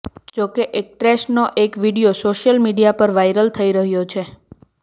જોકે એક્ટ્રેસનો એક વીડિયો સોશિયલ મીડિયા પર વાઇરલ થઈ રહ્યો છે